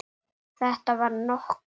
Þetta var okkar.